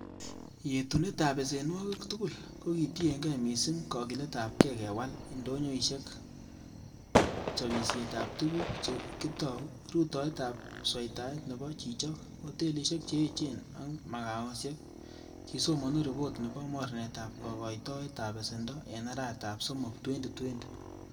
Yetunetab besenwogik tugul, ko kitienge missing kokilet ab gee kewal indonyoisiek, chobisietab tuguk che kitou, rutoitab sweitaet nebo chichok, hotelisiek che echen ak magaosiek,''kisomonu ripot nebo mornetab kokoitoet ab besendo en arawetab somok,2020.